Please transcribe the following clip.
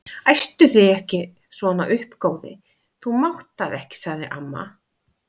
Æstu þig ekki svona upp góði, þú mátt það ekki sagði amma.